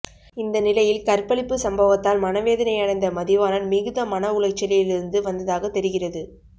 இந்த நிலையில் கற்பழிப்பு சம்பவத்தால் மனவேதனை அடைந்த மதிவாணன் மிகுந்த மனஉளைச்சலில் இருந்து வந்ததாக தெரிகிறது